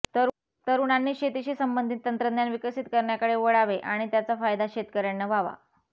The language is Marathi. तरुणांनी शेतीशी संबंधित तंत्रज्ञान विकसित करण्याकडे वळावे आणि त्याचा फायदा शेतकऱयांना व्हावा